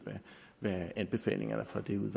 hvad anbefalingerne fra den